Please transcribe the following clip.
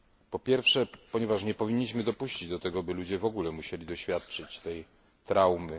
Po pierwsze, ponieważ nie powinniśmy dopuścić do tego, by ludzie musieli w ogóle doświadczać tej traumy.